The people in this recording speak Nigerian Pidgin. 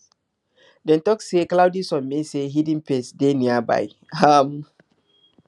dem talk say cloudy sun mean say hidden pests dey nearby um